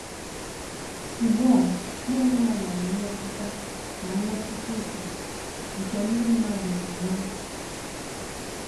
Ugbu a ya onwe ya nwere mmetụta na mmetụta uche nke ndị mmadụ na - enwe.